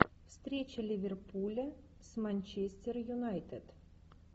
встреча ливерпуля с манчестер юнайтед